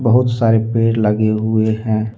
बहुत सारे पेड़ लगे हुए हैं।